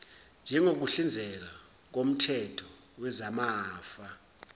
njengokuhlinzeka koomthetho wezamafa